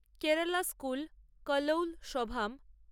Kerala school কালৌল সভাম